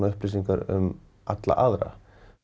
upplýsingar um alla aðra